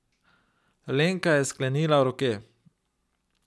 Lenka je sklenila roke.